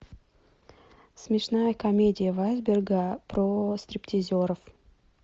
смешная комедия вайсберга про стриптизеров